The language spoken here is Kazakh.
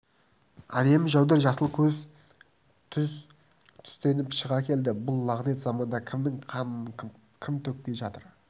әдемі жәудір жасыл көз тұз түстеніп шыға келді бұл лағынет заманда кімнің қанын кім төкпей жатыр